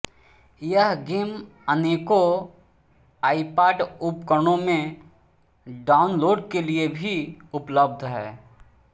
यह गेम अनेकों आइपॉड उपकरणों में डाउनलोड के लिए भी उपलब्ध है